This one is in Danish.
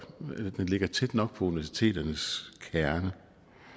ligger tæt nok på universiteternes kerne